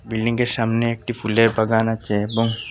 বিল্ডিংয়ের সামনে একটি ফুলের বাগান আছে এবং--